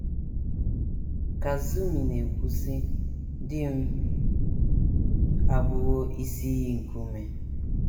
Kazumi na - ekwu,, sị: “ Di m abụwo isi iyi nke ume.